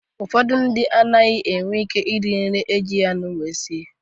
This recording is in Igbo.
Ụfọdụ ndị mmadụ enweghị ike iri nri ejighị anụ wee sie.